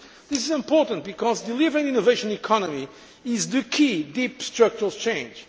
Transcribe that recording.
This is important because delivering the innovation economy is the key deep structural change.